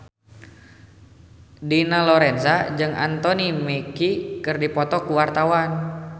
Dina Lorenza jeung Anthony Mackie keur dipoto ku wartawan